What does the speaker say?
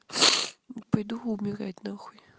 пойду умирать нахуй